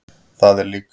Það er líka.